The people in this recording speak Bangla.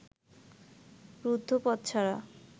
রুদ্ধ পথ ছাড়া